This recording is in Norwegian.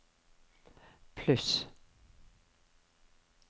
pluss